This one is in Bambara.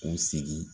U sigi